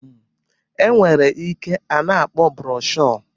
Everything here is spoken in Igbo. E nwere nke a na-akpọ broshuọ